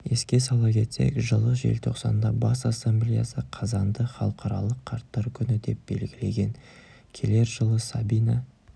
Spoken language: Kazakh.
еске сала кетсек жылы желтоқсанда бас ассамблеясы қазанды халықаралық қарттар күні деп белгілеген келер жылы сәбина